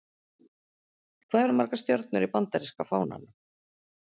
Hvað eru margar stjörnur í Bandaríska fánanum?